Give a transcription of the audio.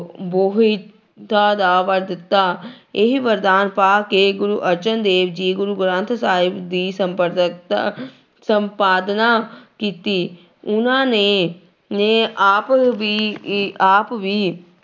ਬੋਹਿਥਾ ਦਾ ਵਰ ਦਿੱਤਾ ਇਹ ਵਰਦਾਨ ਪਾ ਕੇ ਗੁਰੂ ਅਰਜਨ ਦੇਵ ਜੀ ਗੁਰੂ ਗ੍ਰੰਥ ਸਾਹਿਬ ਦੀ ਸੰਪਾਦਕਤਾ ਸੰਪਾਦਨਾ ਕੀਤੀ, ਉਹਨਾਂ ਨੇ ਨੇ ਆਪ ਵੀ ਇ ਆਪ ਵੀ